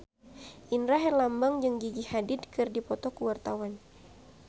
Indra Herlambang jeung Gigi Hadid keur dipoto ku wartawan